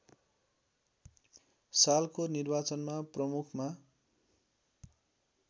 सालको निर्वाचनमा प्रमुखमा